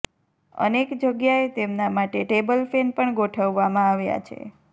અનેક જગ્યાએ તેમના માટે ટેબલ ફેન પણ ગોઠવવામાં આવ્યા છે